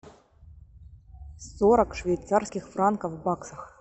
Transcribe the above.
сорок швейцарских франков в баксах